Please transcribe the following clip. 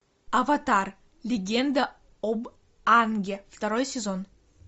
аватар легенда об аанге второй сезон